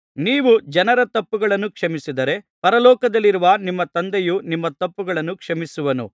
ನೀವು ಜನರ ತಪ್ಪುಗಳನ್ನು ಕ್ಷಮಿಸಿದರೆ ಪರಲೋಕದಲ್ಲಿರುವ ನಿಮ್ಮ ತಂದೆಯು ನಿಮ್ಮ ತಪ್ಪುಗಳನ್ನೂ ಕ್ಷಮಿಸುವನು